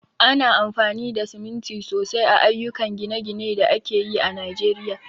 Ana amfani da siminti sosai a ayyukan gine-ginen da ake yi a Najeriya.